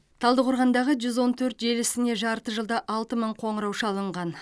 талдықорғандағы жүз он төрт желісіне жарты жылда алты мың қоңырау шалынған